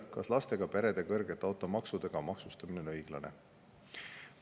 Kas lastega perede kõrgete automaksudega maksustamine on õiglane?